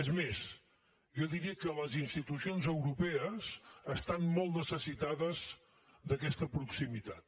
és més jo diria que les institucions europees estan molt necessitades d’aquesta proximitat